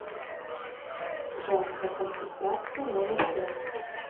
женская консультация номер пять